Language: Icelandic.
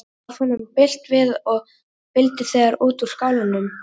Varð honum bilt við og vildi þegar út úr skálanum.